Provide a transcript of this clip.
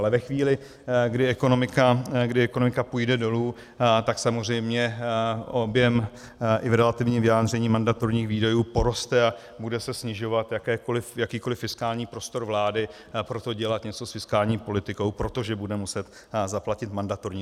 Ale ve chvíli, kdy ekonomika půjde dolů, tak samozřejmě objem i v relativních vyjádření mandatorních výdajů poroste a bude se snižovat jakýkoliv fiskální prostor vlády pro to dělat něco s fiskální politikou, protože bude muset zaplatit mandatorní.